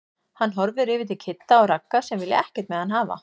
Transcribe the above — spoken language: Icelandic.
Hann horfir yfir til Kidda og Ragga sem vilja ekkert með hann hafa.